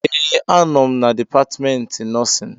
ee, anọ m na Dipatmentị Nọọsịn